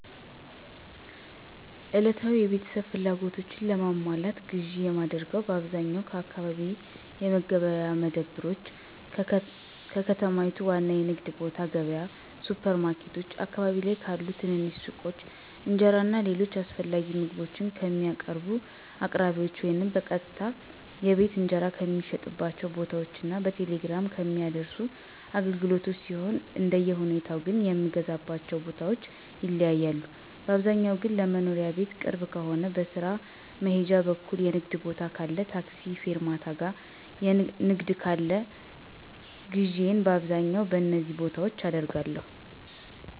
ዕለታዊ የቤተሰብ ፍላጎቶችን ለማሟላት ግዥ የማደርገው በአብዛኛው ከአካባቢ የመገበያያ መደብሮች፣ ከከተማይቱ ዋና የንግድ ቦታ ገብያ፣ ሱፐር ማርኬቶች፣ አካባቢ ላይ ካሉ ትንንሽ ሱቆች፣ እንጀራ እና ሌሎች አስፈላጊ ምግቦችን ከሚያቀርቡ አቅራቢዎች ወይም በቀጥታ የቤት እንጀራ ከሚሸጥባቸው ቦታዎች እና በቴሌግራም ከሚያደርሱ አገልግሎቶች ሲሆን አንደሁኔታው ግን የምገዛባቸው ቦታዎች ይለያያሉ, ባብዛኛው ግን ለመኖሪያ ቤት ቅርብ ከሆነ, በስራ መሄጃ በኩል የንግድ ቦታ ካለ ,ታክሲ ፌርማታ ጋር ንግድ ካለ ግዢየን በአብዛኛው በነዚ ቦታዎች አደርጋለሁ።